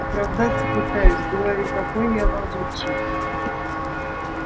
оправдаться пытаюсь говорю какой я лазутчик